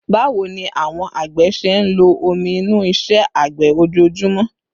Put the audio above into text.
Báwo ni àwọn àgbẹ̀ ṣe ń lo omi inú iṣẹ́ àgbẹ̀ ojoojúmọ́?